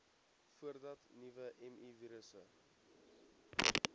voordat nuwe mivirusse